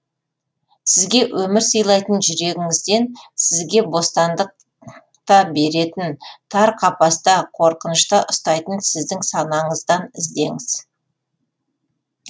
сізге өмір сыйлайтын жүрегіңізден сізге бостандық та беретін тар қапаста қорқынышта ұстайтын сіздің санаңыздан іздеңіз